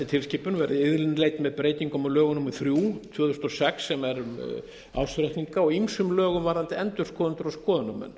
tilskipun verði innleidd með breytingum á lögum númer þrjú tvö þúsund og sex sem er um ársreikninga og ýmsum lögum varðandi endurskoðendur og skoðunarmenn